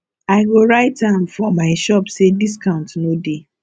i go write am for my shop sey discount no dey